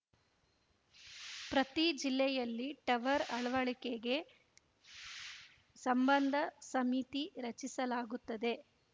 ಪ್ರತಿ ಜಿಲ್ಲೆಯಲ್ಲಿ ಟವರ್‌ ಅಳವಡಿಕೆಗೆ ಸಂಬಂಧ ಸಮಿತಿ ರಚಿಸಲಾಗುತ್ತದೆ